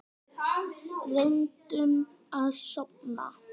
Reyndum að sofna.